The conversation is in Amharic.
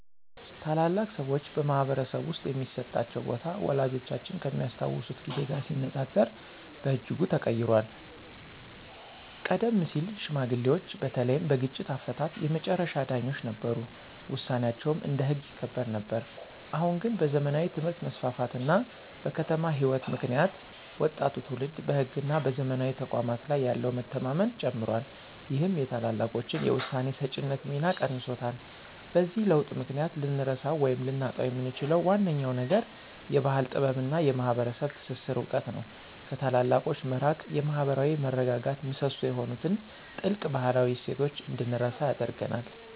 ታላላቅ ሰዎች በማኅበረሰብ ውስጥ የሚሰጣቸው ቦታ ወላጆቻችን ከሚያስታውሱት ጊዜ ጋር ሲነጻጸር በእጅጉ ተቀይሯል። ቀደም ሲል ሽማግሌዎች በተለይም በግጭት አፈታት የመጨረሻ ዳኞች ነበሩ፤ ውሳኔያቸውም እንደ ሕግ ይከበር ነበር። አሁን ግን በዘመናዊ ትምህርት መስፋፋት እና በከተማ ሕይወት ምክንያት ወጣቱ ትውልድ በሕግና በዘመናዊ ተቋማት ላይ ያለው መተማመን ጨምሯል ይህም የታላላቆችን የውሳኔ ሰጪነት ሚና ቀንሶታል። በዚህ ለውጥ ምክንያት ልንረሳው ወይም ልናጣው የምንችለው ዋነኛው ነገር የባሕል ጥበብና የማኅበረሰብ ትስስር እውቀት ነው። ከታላላቆች መራቅ የማኅበራዊ መረጋጋት ምሰሶ የሆኑትን ጥልቅ ባህላዊ እሴቶች እንድንረሳ ያደርገናል።